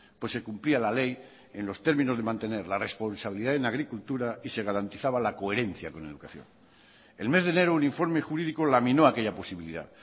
pues se cumplía la ley en los términos de mantener la responsabilidad en agricultura y se garantizaba la coherencia con educación el mes de enero un informe jurídico laminó aquella posibilidad